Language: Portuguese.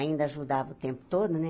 Ainda ajudava o tempo todo, né?